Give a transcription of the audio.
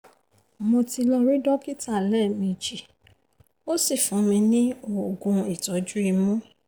mo ti lọ rí dókítà lẹ́ẹ̀mejì ó sì fún ní oògùn ìtọ́jú imú